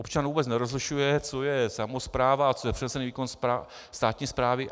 Občan vůbec nerozlišuje, co je samospráva a co je přenesený výkon státní správy.